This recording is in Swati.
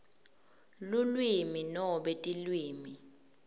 lulwimi nobe tilwimi